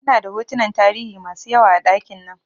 Ina da hotunan tarihi masu yawa a ɗakin nan